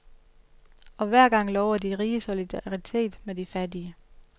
Og hver gang lover de rige solidaritet med de fattige.